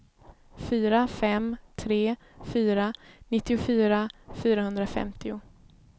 fyra fem tre fyra nittiofyra fyrahundrafemtio